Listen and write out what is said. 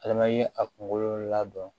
Ale ma ye a kunkolo la dɔn